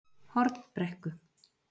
Hornbrekku